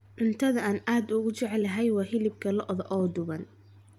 Cuntada aan ugu jecelahay waa hilib lo'aad oo duban.